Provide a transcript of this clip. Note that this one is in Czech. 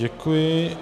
Děkuji.